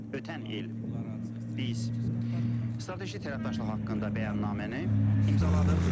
Ötən il biz strateji tərəfdaşlıq haqqında bəyannaməni imzaladıq.